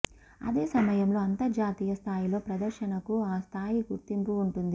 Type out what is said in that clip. అదే సమయంలో అంతర్జాతీయ స్థాయిలో ప్రదర్శనకు ఆ స్థాయి గుర్తింపు ఉంటుంది